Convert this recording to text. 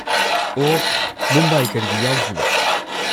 ꯑꯣ, ꯃꯨꯝꯕꯥꯏ ꯀꯔꯤꯒꯤ ꯌꯥꯎꯗ꯭ꯔꯤꯕ?